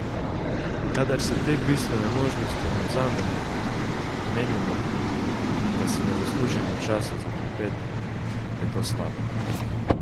Kadar si te bistvene možnosti ne vzamemo, menimo, da si ne zaslužimo časa za klepet, je to slabo.